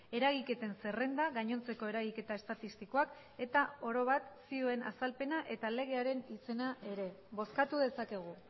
eragiketen zerrenda gainontzeko eragiketa estatistikoak eta oro bat zioen azalpena eta legearen izena ere bozkatu dezakegu